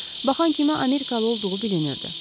Baxan kimi amerikalı olduğu bilinirdi.